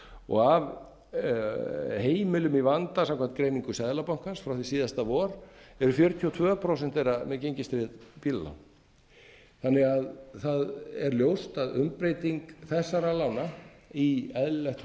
og af heimilum í vanda samkvæmt greiningu seðlabankans frá því síðasta vor yfir fjörutíu og tvö prósent þeirra með gengistryggð bílalán þannig að það er ljóst að umbreyting þessara lána í eðlilegt